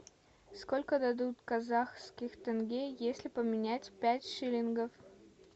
сколько дадут казахских тенге если поменять пять шиллингов